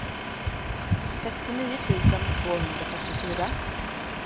sextionio tusen tvåhundrafyrtiofyra